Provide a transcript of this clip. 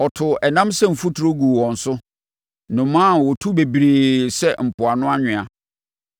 Ɔtoo ɛnam sɛ mfuturo guu wɔn so, nnomaa a wɔtu bebree sɛ mpoano anwea.